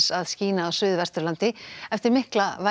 að skína á Suðvesturlandi eftir mikla